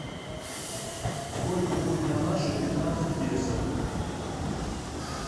сколько будет на наши пятнадцать песо